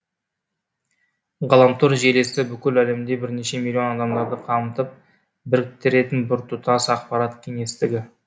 ғаламтор желісі бүкіл әлемде бірнеше миллион адамдарды қамтып біріктіретін біртұтас ақпарат кеңістігі